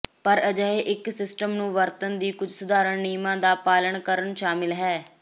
ਪਰ ਅਜਿਹੇ ਇੱਕ ਸਿਸਟਮ ਨੂੰ ਵਰਤਣ ਦੀ ਕੁਝ ਸਧਾਰਨ ਨਿਯਮ ਦਾ ਪਾਲਣ ਕਰਨ ਸ਼ਾਮਲ ਹੈ